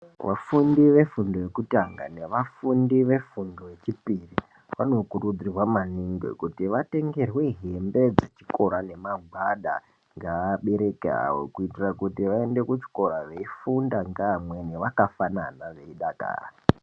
Vafundi vefundo yekutanga nevafufundi vefundo yechipiri vanokurudzirwa maningi kuti vatengerwe hembe dzechikora nemagwada ngaabereki avo. Kuitira kuti vaende kuchikora veifunda ngeamweni vakafanana veidakara.